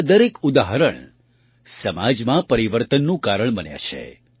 આવાં દરેક ઉદાહરણ સમાજમાં પરિવર્તનનું કારણ બન્યાં છે